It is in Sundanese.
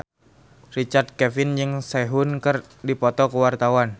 Richard Kevin jeung Sehun keur dipoto ku wartawan